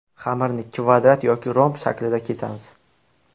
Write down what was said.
Xamirni kvadrat yoki romb shaklida kesamiz.